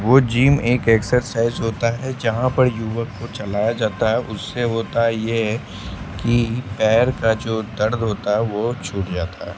वो जीम एक एक्सरसाइज होता है जहां पर युवक को चलाया जाता है उससे होता ये है कि पैर का जो दर्द होता है वो छूट जाता है।